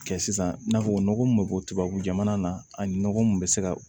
Kɛ sisan i n'a fɔ nɔgɔ mun be bɔ tubabu jamana na ani nɔgɔ mun be se ka